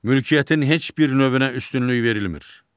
Mülkiyyətin heç bir növünə üstünlük verilmir.